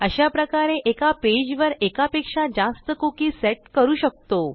अशाप्रकारे एका पेजवर एकापेक्षा जास्त कुकी सेट करू शकतो